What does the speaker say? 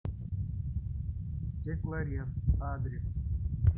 стеклорез адрес